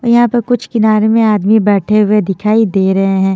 यहां पे कुछ किनारे में आदमी बैठे हुए दिखाई दे रहे हैं।